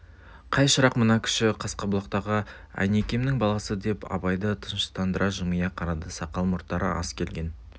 қай шырақ мына кіші қасқабұлақтағы әйнекемнің баласы деп абайды тыныштандыра жымия қарады сақал мұрттары аз келген